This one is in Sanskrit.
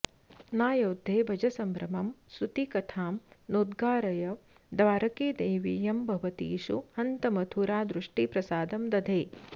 नायोध्ये भज सम्भ्रमं स्तुतिकथां नोद्गारय द्वारके देवीयं भवतीषु हन्त मथुरा दृष्टिप्रसादं दधे